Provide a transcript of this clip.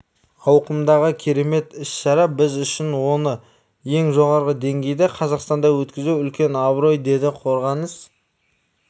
ауқымдағы керемет іс-шара біз үшін оны ең жоғары деңгейде қазақстанда өткізу үлкен абырой деді қорғаныс